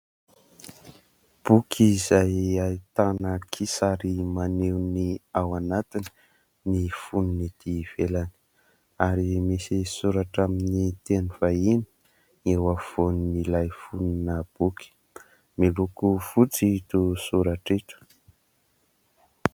Boky izay ahitana kisary maneho ny ao anatiny ny fonony etỳ ivelany, ary misy soratra amin'ny teny vahiny eo afovoan'ilay fonona boky. Miloko fotsy ito soratra ito.